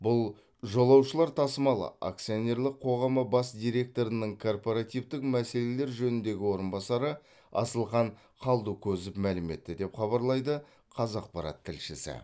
бұл жолаушылар тасымалы акционерлік қоғамы бас директорының корпоративтің мәселелер жөніндегі орынбасары асылхан қалдыкозов мәлім етті деп хабарлайды қазақпарат тілшісі